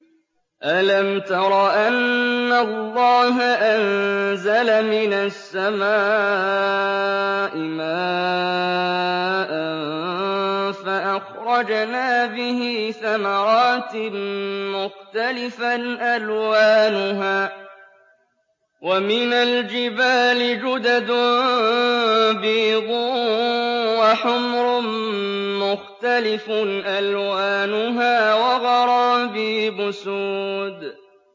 أَلَمْ تَرَ أَنَّ اللَّهَ أَنزَلَ مِنَ السَّمَاءِ مَاءً فَأَخْرَجْنَا بِهِ ثَمَرَاتٍ مُّخْتَلِفًا أَلْوَانُهَا ۚ وَمِنَ الْجِبَالِ جُدَدٌ بِيضٌ وَحُمْرٌ مُّخْتَلِفٌ أَلْوَانُهَا وَغَرَابِيبُ سُودٌ